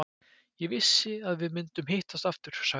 Ég vissi að við myndum hittast aftur, sagði hún.